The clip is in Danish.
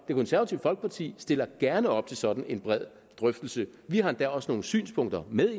det konservative folkeparti stiller gerne op til sådan en bred drøftelse vi har endda også nogle synspunkter med